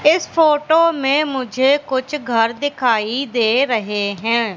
इस फोटो में मुझे कुछ घर दिखाई दे रहे हैं।